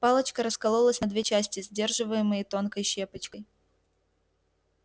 палочка раскололась на две части сдерживаемые тонкой щепочкой